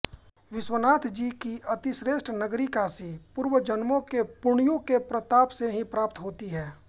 विश्वनाथजी की अतिश्रेष्ठ नगरी काशी पूर्वजन्मों के पुण्यों के प्रताप से ही प्राप्त होती है